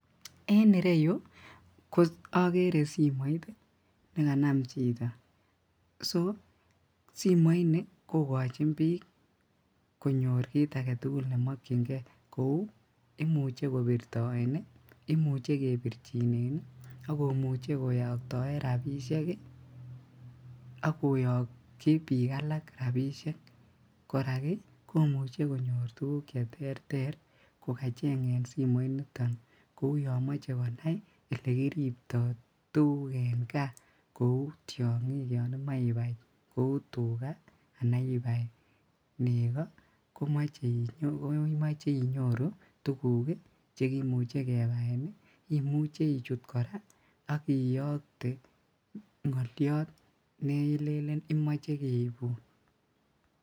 En ireyu ogere simoit nekanam chito so simoini kokojin bik konyor kit agetugul nemokyingee kou imuche kobirtoe , imuche kebirjinen ii imuche koyoktoen rabisiek ii ak koyokji bik alak rabisiek, korak ii komuche konyor tuguk cheterter kokachengen simoiniton kou yomoche kou yomoche konai ole kiripto tuguk en kaa kou tiongik yon imoche ibai kou tugaa ana ibai nego koimoche inyoru tuguk chekimuche kebaen ii imuche ichut ak iyokte ngoliot nelelen imoe keibun.